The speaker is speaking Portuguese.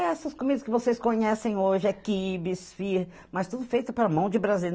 Essas comidas que vocês conhecem hoje, é quibe, esfirra, mas tudo feito pela mão de